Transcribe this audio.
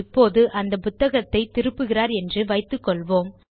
இப்போது அந்த புத்தகத்தை திருப்புகிறார் என்று வைத்துக்கொள்வோம்